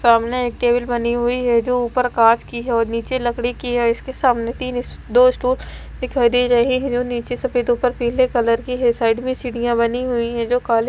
सामने एक टेबल बनी हुई है जो ऊपर कांच की है और नीचे लकड़ी की है इसके सामने तीन स्टू दो स्टूल दिखाई दे रहे हैं जो नीचे सफेद ऊपर पीले कलर की है साइड में सीढ़ियां बनी हुई है जो काली --